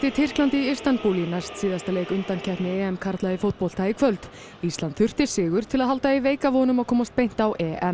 Tyrklandi í Istanbúl í næstsíðasta leik undankeppni karla í fótbolta í kvöld ísland þurfti sigur til að halda í veika von um að komast beint á